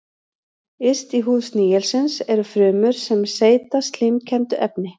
Yst í húð snigilsins eru frumur sem seyta slímkenndu efni.